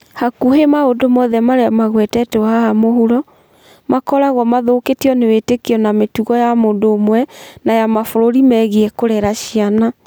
Hakuhĩ maũndũ mothe marĩa magwetetwo haha mũhuro, makoragwo mathũkĩtio nĩ wĩtĩkio na mĩtugo ya mũndũ ũmwe ũmwe na ya mabũrũri megiĩ kũrera ciana.